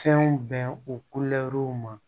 Fɛnw bɛn u ma